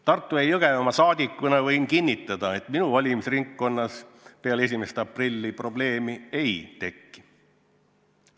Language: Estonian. Tartu- ja Jõgevamaa rahvasaadikuna võin kinnitada, et minu valimisringkonnas peale 1. aprilli probleemi ei teki.